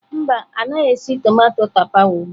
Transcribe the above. Mba, ọ naghị esi tomato tapawa ugbu a.